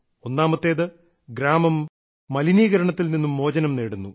ഒന്നാമത്തേത് ഗ്രാമം മലിനീകരണത്തിൽ നിന്നും മോചനം നേടുന്നു